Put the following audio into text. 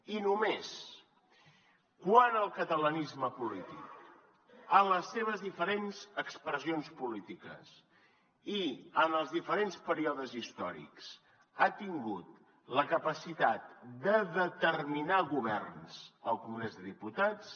i només quan el catalanisme polític en les seves diferents expressions polítiques i en els diferents períodes històrics ha tingut la capacitat de determinar governs al congrés dels diputats